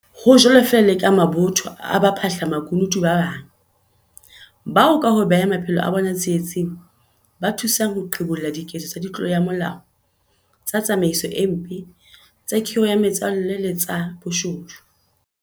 Ho jwalo feela le ka mabotho a baphahla makunutu ba bang, bao ka ho beha maphelo a bona tsie-tsing, ba thusang ho qhibolla diketso tsa ditlolo ya molao, tsa tsamaiso e mpe, tsa khiro ya metswalle le tsa boshodu.